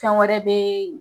Fɛn wɛrɛ be